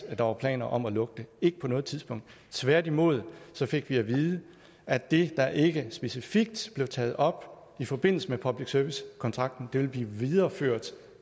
at der var planer om at lukke det ikke på noget tidspunkt tværtimod fik vi at vide at det der ikke specifikt blev taget op i forbindelse med public service kontrakten ville blive videreført